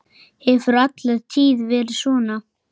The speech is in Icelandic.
Hefur alla tíð verið svona.